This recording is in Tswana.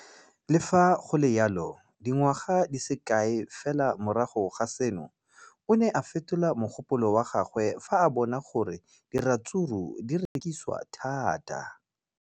Le fa go le jalo, dingwaga di se kae fela morago ga seno, o ne a fetola mogopolo wa gagwe fa a bona gore diratsuru di rekisiwa thata.